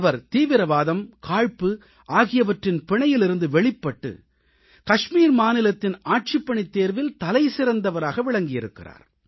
அவர் தீவிரவாதம் காழ்ப்பு ஆகியவற்றின் பிணையிலிருந்து வெளிப்பட்டு காஷ்மீர் மாநிலத்தின் ஆட்சிப்பணித் தேர்வில் தலைசிறந்தவராக விளங்கியிருக்கிறார்